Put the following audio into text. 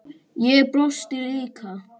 Ég brosti líka.